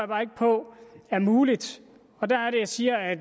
bare ikke på er muligt og der er det jeg siger at